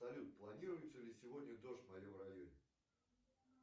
салют планируется ли сегодня дождь в моем районе